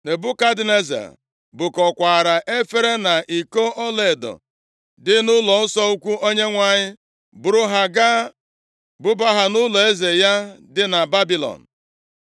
Nebukadneza bukọkwaara efere na iko ọlaedo dị nʼụlọnsọ ukwu Onyenwe anyị, buru ha gaa buba ha nʼụlọeze ya dị na Babilọn.